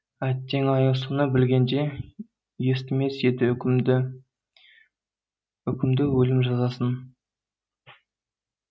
әттең ай соны білгенде естімес еді үкімді үкімді өлім жазасын